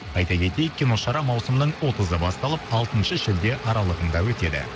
айта кетейік киношара маусымның отызы басталып алтыншы шілде аралығында өтеді